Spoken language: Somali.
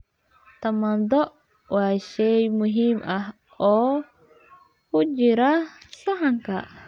Tamaandho waa shay muhiim ah oo ku jira saxanka.